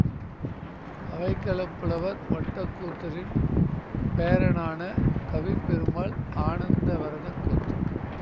அவைக்களப் புலவர் ஒட்டக்கூத்தரின் பேரனான கவிப்பெருமாள் ஆனந்த வரதக் கூத்தன்